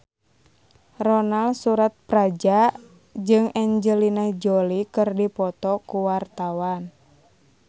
Ronal Surapradja jeung Angelina Jolie keur dipoto ku wartawan